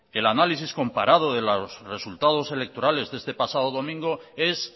el análisis comparado de los resultados electorales de este pasado domingo es